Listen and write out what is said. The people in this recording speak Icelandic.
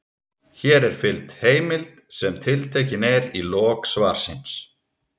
Hér er fylgt heimild sem tiltekin er í lok svarsins.